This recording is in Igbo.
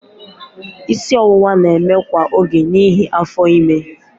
Isi ọwụwa na-eme kwa oge n'ihi afọ ime.